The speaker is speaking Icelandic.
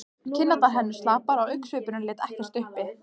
Kinnarnar héngu slapar og augnsvipurinn lét ekkert uppi.